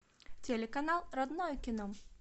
телеканал родное кино